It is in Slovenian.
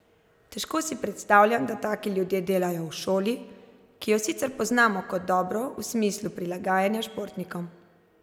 Težko si predstavljam, da taki ljudje delajo v šoli, ki jo sicer poznamo kot dobro v smislu prilagajanja športnikom.